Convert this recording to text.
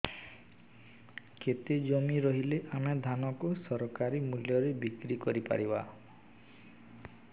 କେତେ ଜମି ରହିଲେ ଆମେ ଧାନ କୁ ସରକାରୀ ମୂଲ୍ଯରେ ବିକ୍ରି କରିପାରିବା